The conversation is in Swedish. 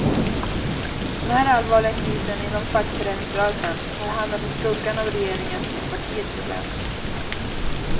Den här allvarliga krisen inom fackföreningsrörelsen har hamnat i skuggan av regeringens och partiets problem.